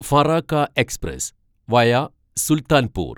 Farakka express via Sultanpur